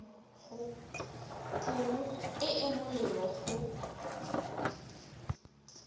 pholo e e molemo go